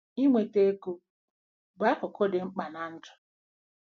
Ị nweta ego bụ akụkụ dị mkpa ná ndụ.